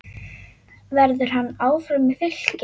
Verður hann áfram í Fylki?